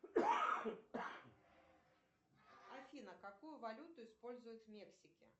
афина какую валюту используют в мексике